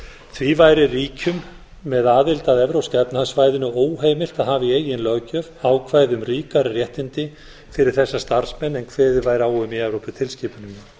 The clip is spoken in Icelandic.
því væri ríkjum með aðild að evrópska efnahagssvæðinu óheimilt að hafa í eigin löggjöf ákvæði um ríkari réttindi fyrir þessa starfsmenn en kveðið væri á um í evróputilskipuninni